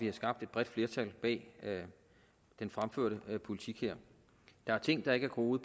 har skabt et bredt flertal bag den fremførte politik der er ting der ikke er groet